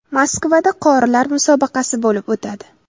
Moskvada qorilar musobaqasi bo‘lib o‘tadi.